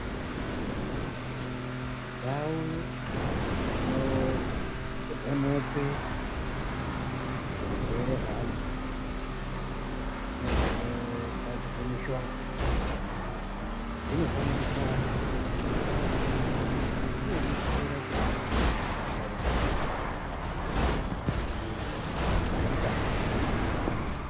Ndau dzinovhenekwe zvirwere zveantu nedzinogadzirwe mishonga dzinofanire kuwanda izvi zvinobetsera kuti mishonga ikawanda nyika aitambudziki.